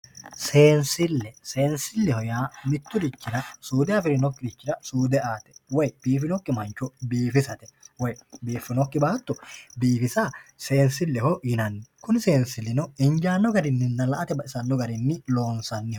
Seensile, seensileho yaa miturichira suude afirinokkirira suude aate woyi biifinokki mancho biifisate woyi biifinokki baatto biifisa seensileho yinnanni kunni seensilino injano garininna la"ate baxisano garinni loonsanniho.